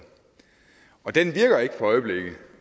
og den virker ikke for øjeblikket